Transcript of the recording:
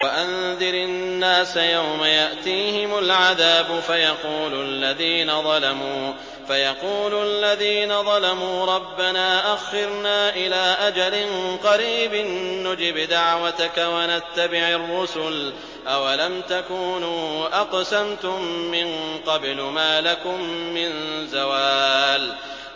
وَأَنذِرِ النَّاسَ يَوْمَ يَأْتِيهِمُ الْعَذَابُ فَيَقُولُ الَّذِينَ ظَلَمُوا رَبَّنَا أَخِّرْنَا إِلَىٰ أَجَلٍ قَرِيبٍ نُّجِبْ دَعْوَتَكَ وَنَتَّبِعِ الرُّسُلَ ۗ أَوَلَمْ تَكُونُوا أَقْسَمْتُم مِّن قَبْلُ مَا لَكُم مِّن زَوَالٍ